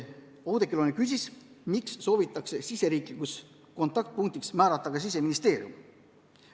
Oudekki Loone küsis, miks soovitakse riigi kontaktpunktiks määrata Siseministeerium.